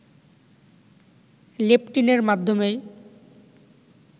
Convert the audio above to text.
লেপটিনের মাধ্যেমেই